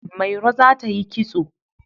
Mairo za ta yi kitso.